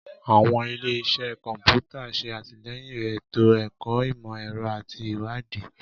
Àwọn ile-iṣẹ kọnputa ṣe atilẹyin eto-ẹkọ imọ-ẹrọ ati iwadii.